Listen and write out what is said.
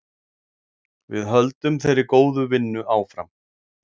Við höldum þeirri góðu vinnu áfram.